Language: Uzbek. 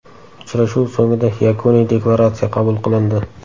Uchrashuv so‘ngida Yakuniy deklaratsiya qabul qilindi.